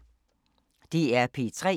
DR P3